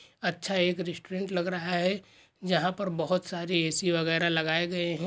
अच्छा एक रेस्टोरेंट लग रहा है जहा पर बहुत सारे ए_सी वगेरा लगाए गए है।